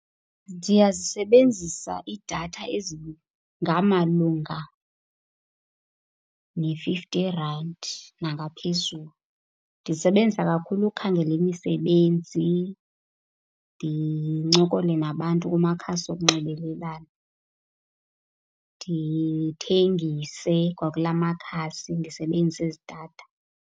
Ndiyazisebenzisa iidatha ezingamalunga ne-fifty rand nangaphezulu. Ndizisebenzisa kakhulu ukukhangela imisebenzi, ndincokole nabantu kumakhasi wokunxibelelana. Ndithengise kwakula makhasi ndisebenzisa ezi datha.